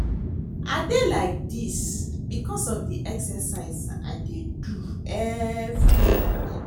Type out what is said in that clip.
I dey like dis because of the exercise I dey do every morning